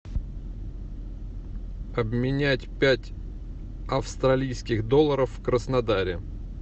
обменять пять австралийских долларов в краснодаре